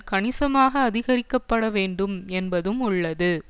கணிசமாக அதிகரிக்கப்பட வேண்டும் என்பதும் உள்ளது